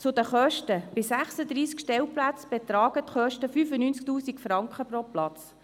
Zu den Kosten: Bei 36 Stellplätzen betragen die Kosten 95 000 Franken pro Platz.